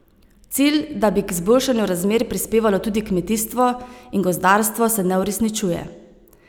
Cilj, da bi k izboljšanju razmer prispevalo tudi kmetijstvo in gozdarstvo, se ne uresničuje.